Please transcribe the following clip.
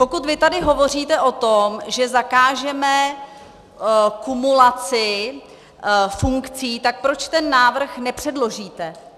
Pokud vy tady hovoříte o tom, že zakážeme kumulaci funkcí, tak proč ten návrh nepředložíte?